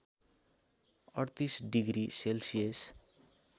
३८ degree Celsius